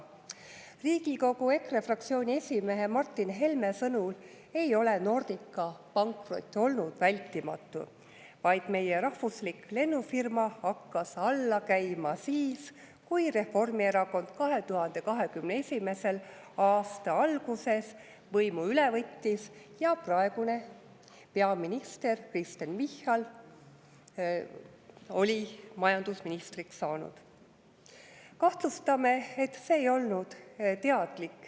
Riigikogu EKRE fraktsiooni esimehe Martin Helme sõnul ei ole Nordica pankrot olnud vältimatu, vaid meie rahvuslik lennufirma hakkas alla käima siis, kui Reformierakond 2021. aasta alguses võimu üle võttis ja praegune peaminister Kristen Michal oli majandusministriks saanud.